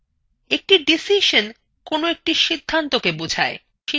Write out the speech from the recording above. একটি ডিসিশন কোনো একটি সিধান্তকে বোঝায়